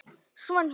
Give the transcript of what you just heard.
Svanhvít